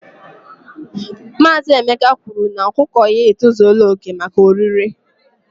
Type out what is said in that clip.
Maazị Emeka kwuru na ọkụkọ ya e tozula oke maka orire